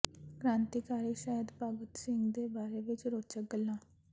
ਕ੍ਰਾਂਤੀਕਾਰੀ ਸ਼ਹੀਦ ਭਗਤ ਸਿੰਘ ਦੇ ਬਾਰੇ ਵਿੱਚ ਰੋਚਕ ਗੱਲਾਂ